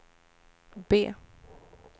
B